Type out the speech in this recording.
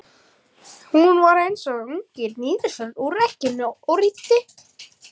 Hún var eins og ungi nýskriðinn úr egginu.